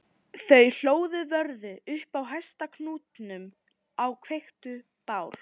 Þau hlóðu vörðu upp á hæsta hnúknum og kveiktu bál